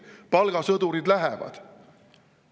Palgasõdurid lähevad.